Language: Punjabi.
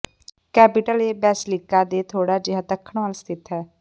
ਕੈਪੀਟਲ ਇਹ ਬੇਸਿਲਿਕਾ ਦੇ ਥੋੜ੍ਹਾ ਜਿਹਾ ਦੱਖਣ ਵੱਲ ਸਥਿਤ ਹੈ